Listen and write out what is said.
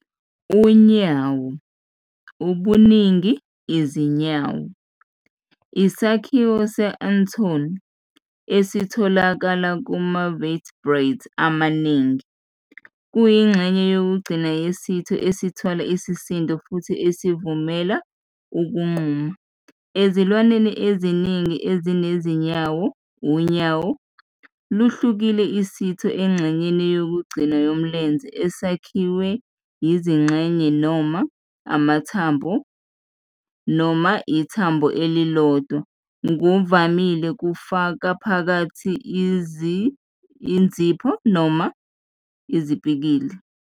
Unyawo, ubuningi- izinyawo, isakhiwo se- anatomy esitholakala kuma-vertebrate amaningi. Kuyingxenye yokugcina yesitho esithwala isisindo futhi esivumela ukuqhuma. Ezilwaneni eziningi ezinezinyawo, unyawo luhlukile isitho engxenyeni yokugcina yomlenze esakhiwe yizingxenye noma amathambo noma ithambo elilodwa, ngokuvamile kufaka phakathi uzipho noma izipikili.